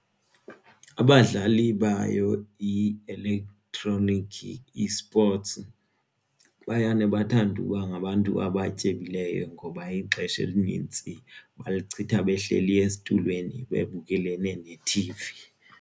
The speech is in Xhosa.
Abadlali bayo i-elektroniki esports bayane bathande uba ngabantu abatyebileyo ngoba ixesha elinintsi balichitha behleli esitulweni bebukelene nethivi.